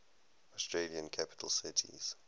australian capital cities